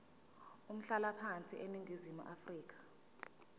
umhlalaphansi eningizimu afrika